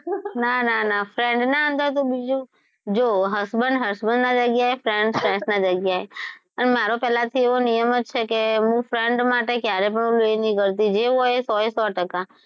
ના ના ના friend ના આગળ બીજું બધુ જો husband husband ના જગ્યાએ friend friend ની જગ્યાએ અને મારો તો પેલા થી એવો નિયમ જ છે કે હું friend માટે હું કયારે પણ એવું નહી કરતી જે હોય એ સો એ સો ટકા.